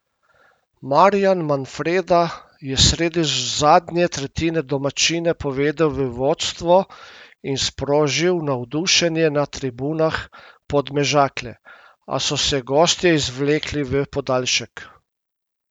Marjan Manfreda je sredi zadnje tretjine domačine povedel v vodstvo in sprožil navdušenje ne tribunah Podmežakle, a so se gostje izvlekli v podaljšek.